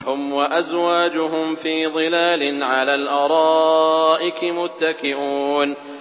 هُمْ وَأَزْوَاجُهُمْ فِي ظِلَالٍ عَلَى الْأَرَائِكِ مُتَّكِئُونَ